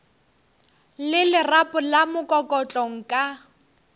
le lerapo la mokokotlo nka